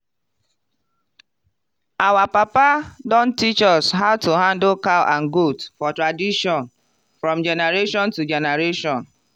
our papa don teach us how to handle cow and goat for tradition from generation to generation.